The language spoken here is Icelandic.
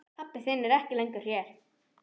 Pabbi þinn er ekki lengur hér.